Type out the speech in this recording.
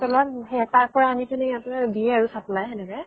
তলত সেয়া তাৰ পৰা আনি কিনি ইয়াতে দিয়ে আৰু supply সেনেকে